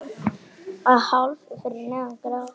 Að hálfu fyrir neðan gras.